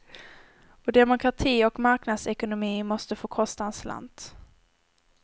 Och demokrati och marknadsekonomi måste få kosta en slant.